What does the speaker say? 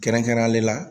Kɛrɛnkɛrɛnnenya la